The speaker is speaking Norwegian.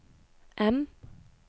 M